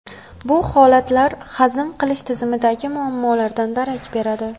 Bu holatlar hazm qilish tizimidagi muammolardan darak beradi.